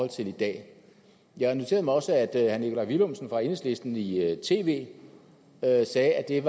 til i dag jeg noterede mig også at herre nikolaj villumsen fra enhedslisten i i tv sagde at det er